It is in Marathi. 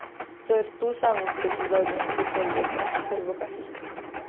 तर तू सांग तुझ्या अजून कसं चालू आहे बाकी सर्व काही?